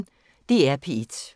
DR P1